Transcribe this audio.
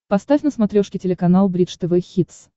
поставь на смотрешке телеканал бридж тв хитс